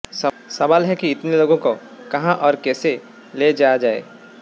सवाल है कि इतने लोगों को कहां और कैसे ले जाया जाए